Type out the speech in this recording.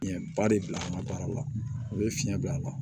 Ɲɛ ba de bila an ka baara la o bɛ fiɲɛ don a la